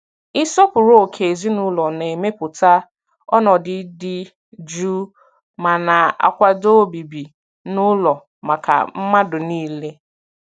Ịsọpụrụ ókè ezinụlọ na-emepụta ọnọdụ dị jụụ ma na-akwado obibi n'ụlọ maka mmadụ niile.